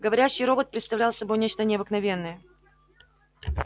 говорящий робот представлял собой нечто необыкновенное